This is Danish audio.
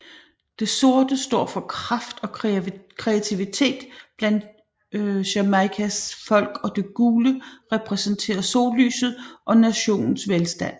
Det sorte står for kraft og kreativitet blandt Jamaicas folk og det gule repræsenterer sollyset og nationens velstand